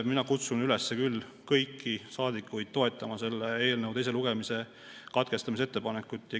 Mina kutsun kõiki saadikuid üles toetama selle eelnõu teise lugemise katkestamise ettepanekut.